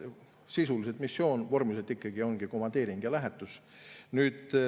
Sisuliselt missioon, vormiliselt ongi komandeering ehk lähetus.